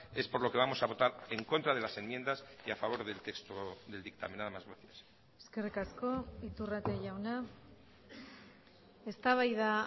es por lo que vamos a votar en contra de las enmiendas y a favor del texto del dictamen nada más gracias eskerrik asko iturrate jauna eztabaida